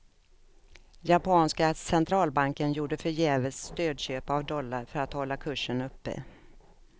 Japanska centralbanken gjorde förgäves stödköp av dollar för att hålla kursen uppe.